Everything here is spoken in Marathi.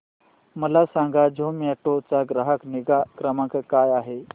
मला सांगा झोमॅटो चा ग्राहक निगा क्रमांक काय आहे